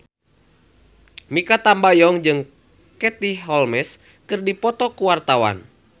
Mikha Tambayong jeung Katie Holmes keur dipoto ku wartawan